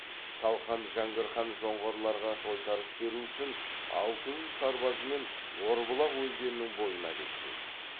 салқам жәңгір хан жоңғарларға тойтарыс беру үшін алты жүз сарбазымен орбұлақ өзенінің бойына беттейді